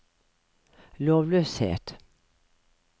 lovløshet